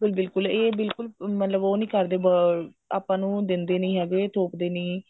ਬਿਲਕੁਲ ਬਿਲਕੁਲ ਇਹ ਬਿਲਕੁਲ ਮਤਲਬ ਉਹ ਨਹੀਂ ਕਰਦੇ ਆਪਾਂ ਨੂੰ ਦਿੰਦੇ ਨਹੀਂ ਹੈਗੇ ਥੋਪਦੇ ਨਹੀਂ